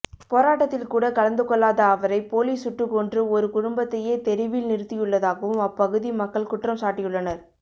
போராட்டத்தில்கூட கலந்துகொள்ளாத அவரை போலீஸ் சுட்டுக்கொன்று ஒரு குடும்பத்தையே தெருவில் நிறுத்தியுள்ளதாகவும் அப்பகுதி மக்கள் குற்றம் சாட்டியுள்ளனர்